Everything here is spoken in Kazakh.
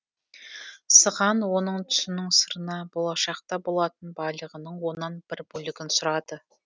сыған оның түсінің сырына болашақта болатын байлығының оннан бір бөлігін сұрады